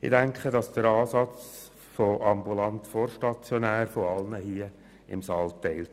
Ich denke, der Ansatz «ambulant vor stationär» wird von allen hier im Saal geteilt.